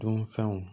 Dunfɛnw